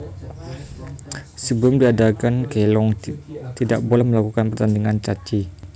Sebelum diadakan Kelong tidak boleh melakukan pertandingan Caci